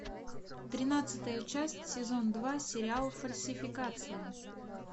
тринадцатая часть сезон два сериал фальсификация